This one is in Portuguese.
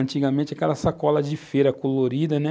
Antigamente, aquela sacola de feira colorida, né?